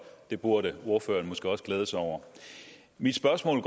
det burde ordføreren måske også glæde sig over mit spørgsmål